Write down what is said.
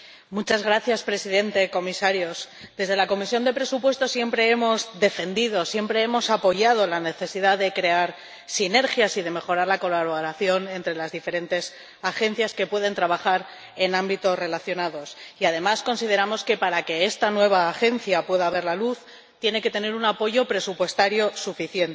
Señor Presidente, Comisarios, desde la Comisión de Presupuestos siempre hemos defendido, siempre hemos apoyado la necesidad de crear sinergias y de mejorar la colaboración entre las diferentes agencias que pueden trabajar en ámbitos relacionados, y además consideramos que para que esta nueva agencia pueda ver la luz tiene que tener un apoyo presupuestario suficiente.